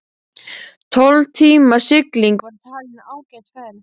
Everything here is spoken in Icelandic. Tólf tíma sigling var talin ágæt ferð.